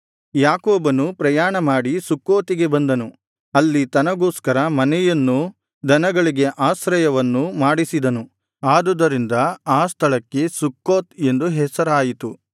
ಯಾಕೋಬನು ಪ್ರಯಾಣಮಾಡಿ ಸುಕ್ಕೋತಿಗೆ ಬಂದನು ಅಲ್ಲಿ ತನಗೋಸ್ಕರ ಮನೆಯನ್ನೂ ದನಗಳಿಗೆ ಆಶ್ರಯವನ್ನೂ ಮಾಡಿಸಿದನು ಆದುದರಿಂದ ಆ ಸ್ಥಳಕ್ಕೆ ಸುಕ್ಕೋತ್ ಎಂದು ಹೆಸರಾಯಿತು